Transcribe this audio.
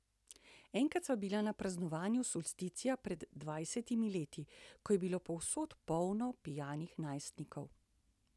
Enkrat sva bila na praznovanju solsticija pred dvajsetimi leti, ko je bilo povsod polno pijanih najstnikov.